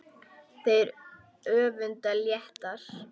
Þeir önduðu léttar.